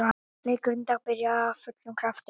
Leikurinn í dag byrjaði af fullum krafti.